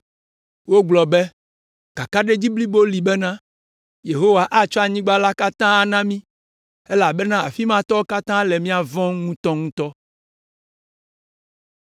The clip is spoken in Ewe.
Wogblɔ be, “Kakaɖedzi blibo li bena, Yehowa atsɔ anyigba la katã ana mí, elabena afi ma tɔwo katã le mía vɔ̃m ŋutɔŋutɔ.”